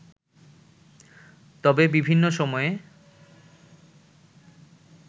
তবে বিভিন্ন সময়ে